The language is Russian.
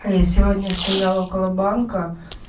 а я сегодня стояла около банка